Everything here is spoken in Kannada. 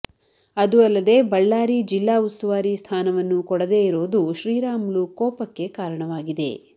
ಅದೂ ಅಲ್ಲದೆ ಬಳ್ಳಾರಿ ಜಿಲ್ಲಾ ಉಸ್ತುವಾರಿ ಸ್ಥಾನವನ್ನೂ ಕೊಡದೆ ಇರೋದು ಶ್ರೀರಾಮುಲು ಕೋಪಕ್ಕೆ ಕಾರಣವಾಗಿದೆ